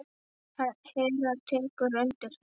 Hera tekur undir þetta.